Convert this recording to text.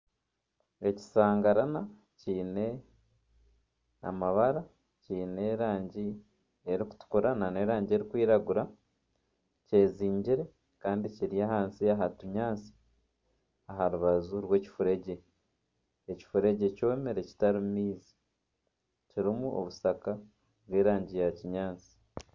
Ekishangarana kiine amabara, kyine erangi erikutukura nana erangi erikwiragura kyezingire Kandi kiri ahansi aha kinyatsi aha rubaju rwekifuregye ekifuregye kyomire kitarimu maizi kirimu obushaka bw'erangi ya kinyaatsi.